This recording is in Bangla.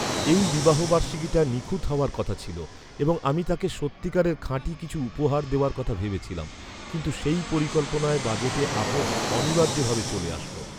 এই বিবাহবার্ষিকীটা নিখুঁত হওয়ার কথা ছিল এবং আমি তাকে সত্যিকারের খাঁটি কিছু উপহার দেওয়ার কথা ভেবেছিলাম; কিন্তু সেই পরিকল্পনায় বাজেটে আপস অনিবার্য ভাবে চলে আসল।